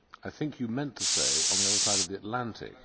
I think you meant to say on the other side of the Atlantic'.